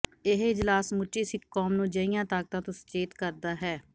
ਇਹ ਇਜਲਾਸ ਸਮੁੱਚੀ ਸਿੱਖ ਕੌਮ ਨੂੰ ਅਜਿਹੀਆਂ ਤਾਕਤਾਂ ਤੋਂ ਸੁਚੇਤ ਕਰਦਾ ਹੈ